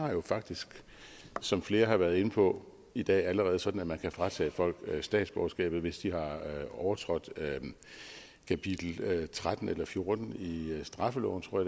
er jo faktisk som flere har været inde på i dag allerede sådan at man kan fratage folk statsborgerskabet hvis de har overtrådt kapitel tretten eller fjorten i straffeloven tror